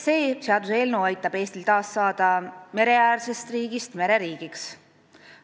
See seaduseelnõu aitab Eestil taas mereäärsest riigist mereriigiks saada.